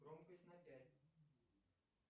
громкость на пять